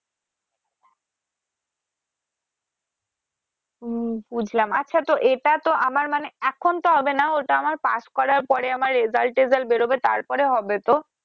হম বুঝলাম আচ্ছা তো এটা তো আমার মানে এখন তো হবে না ওটা আমার pass করার পরে আমার result টেজাল্ট বের হবে তারপরে হবে তো